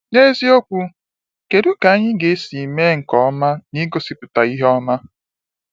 N’eziokwu, kedu ka anyị ga-esi mee nke ọma n’ịgosipụta ihe ọma?